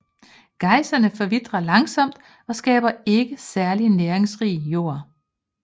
Gaisserne forvitrer langsomt og skaber ikke særlig næringsrig jord